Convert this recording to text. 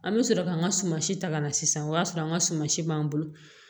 An bɛ sɔrɔ ka n ka suma si ta ka na sisan o y'a sɔrɔ an ka suma si b'an bolo